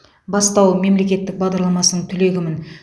бастау мемлекеттік бағдарламасының түлегімін